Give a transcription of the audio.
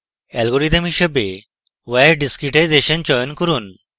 algorithm হিসাবে wire discretization চয়ন করুন